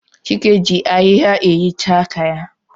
Chike ji ahịhịa ehichaa aka ya.